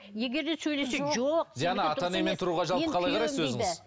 диана ата енемен тұруға жалпы қалай қарайсыз өзіңіз